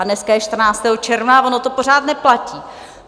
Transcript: A dneska je 14. června a ono to pořád neplatí.